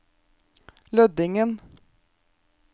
Lødingen